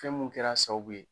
Fɛn mun kɛr'a sababu ye